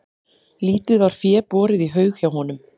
Lítið var fé borið í haug hjá honum.